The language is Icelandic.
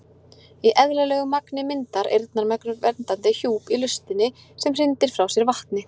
Í eðlilegu magni myndar eyrnamergur verndandi hjúp í hlustinni sem hrindir frá sér vatni.